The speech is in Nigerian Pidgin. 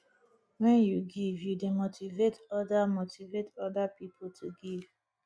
wen yu give yu dey motivate oda motivate oda pipo to give